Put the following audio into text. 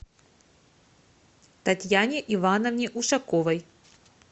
татьяне ивановне ушаковой